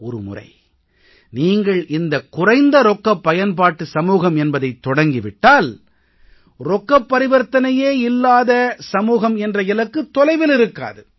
ஒரு முறை நீங்கள் இந்தக் குறைந்த ரொக்கப் பயன்பாட்டு சமூகம் என்பதைத் தொடங்கி விட்டால் ரொக்கப் பரிவர்த்தனையே இல்லாத சமூகம் என்ற இலக்கு தொலைவில் இருக்காது